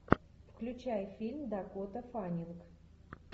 включай фильм дакота фаннинг